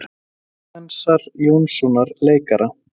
Klemensar Jónssonar leikara.